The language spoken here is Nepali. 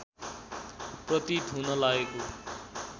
प्रतीत हुन लागेको